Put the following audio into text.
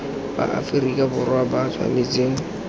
ba aferika borwa ba tshwanetse